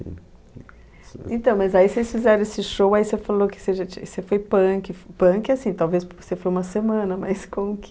Então, mas aí vocês fizeram esse show, aí você falou que você já tinha, você foi punk, f punk assim, talvez porque você foi uma semana, mas como que...